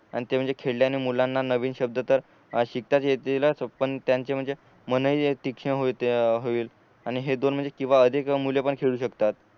आणि ते म्हणजे खेळल्याने मुलांना नवीन शब्द तर शिकताच येतील तो पण त्यांचे म्हणजे मन हि होईल आणि हे दोन म्हणजे किंवा अधिक मुल पण खेळू शकतात